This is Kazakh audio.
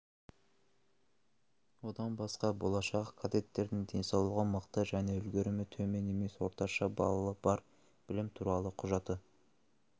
одан басқа болашақ кадеттердің денсаулығы мықты және үлгерімі төмен емес орташа баллы бар білімі туралы құжаты